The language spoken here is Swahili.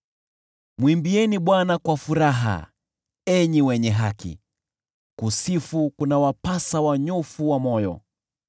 Mwimbieni Bwana kwa furaha, enyi wenye haki; kusifu kunawapasa wanyofu wa moyo.